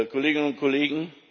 Kolleginnen und Kollegen!